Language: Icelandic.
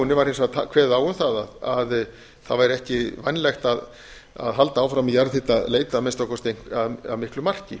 byggðaáætlunartillögunni var hins vegar kveðið á um það að það væri ekki vænlegt að halda áfram jarðhitaleit að minnsta kosti að miklu marki